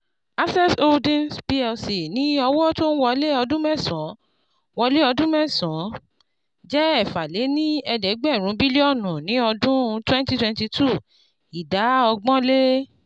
Access Holdings Plc ní owó tó n wọlé ọdún mẹ́sàn-án wọlé ọdún mẹ́sàn-án jẹ́ ẹ̀fà-lé-ní-ẹ̀ẹ́dẹ́gbẹ́rún bílíọ̀nù ní ọdún twenty twenty two, ìdá ọgbọ̀n-lé